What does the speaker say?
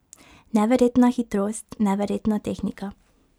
Neverjetna hitrost, neverjetna tehnika ...